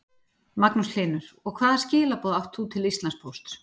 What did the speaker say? Magnús Hlynur: Og hvaða skilaboð átt þú til Íslandspóst?